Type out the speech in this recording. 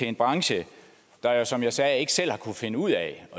en branche der jo som jeg sagde ikke selv har kunnet finde ud af at